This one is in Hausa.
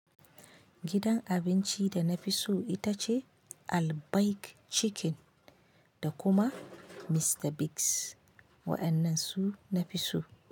Gidan abinci da nafi so ita ce Albaik Chicken da kuma Mr. Biggs. Waƴannan su nafi so.